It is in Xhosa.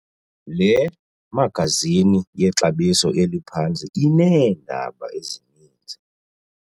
Le magazini yexabiso eliphantsi ineendaba ezininzi.